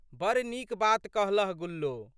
बड़ नीक बात कहलह गुल्लो।